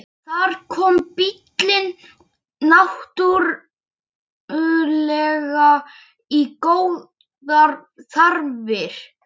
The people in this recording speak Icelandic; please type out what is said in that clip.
Þar kom bíllinn náttúrlega í góðar þarfir.